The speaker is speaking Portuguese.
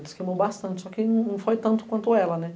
Ele se queimou bastante, só que não foi tanto quanto ela, né?